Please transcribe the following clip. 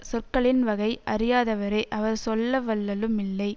சொற்களின் வகை அறியாதவரே அவர் சொல்லவல்லலும் இல்லை